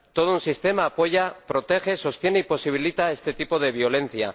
Todo un sistema apoya, protege, sostiene y posibilita este tipo de violencia.